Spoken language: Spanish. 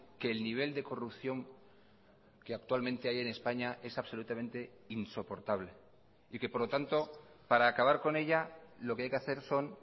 que el nivel de corrupción que actualmente hay en españa es absolutamente insoportable y que por lo tanto para acabar con ella lo que hay que hacer son